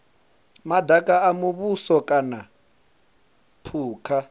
madaka a muvhuso kana phukha